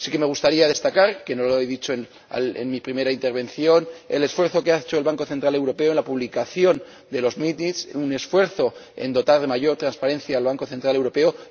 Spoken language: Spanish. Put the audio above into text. Me gustaría destacar, ya que no lo he dicho en mi primera intervención, el esfuerzo que ha hecho el Banco Central Europeo en la publicación de las actas de sus reuniones, un esfuerzo por dotar de mayor transparencia al Banco Central Europeo.